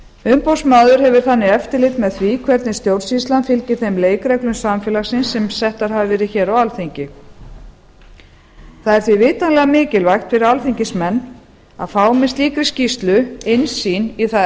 umboðsmaður hefur þannig eftirlit með því hvernig stjórnsýslan fylgir þeim leikreglum samfélagsins sem settar hafa verið hér á alþingi það er því vitanlega mikilvægt fyrir alþingismenn að fá með slíkri skýrslu innsýn í það